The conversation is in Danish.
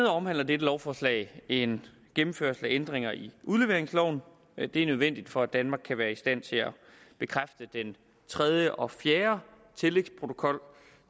omhandler dette lovforslag en gennemførelse af ændringer i udleveringsloven det er nødvendigt for at danmark kan være i stand til at bekræfte den tredje og fjerde tillægsprotokol